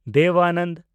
Dev Anand